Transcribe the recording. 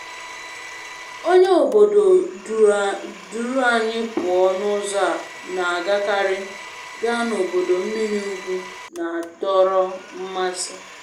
Onye obodo duru anyị pụọ n'ụzọ a na-agakarị gaa n'ọdọ mmiri ugwu na-adọrọ mmasị.